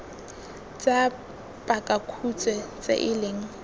tsa pakakhutshwe tse e leng